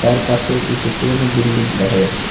তার পাশের কিছু পুরনো বিল্ডিং দেখা যাচ্ছে।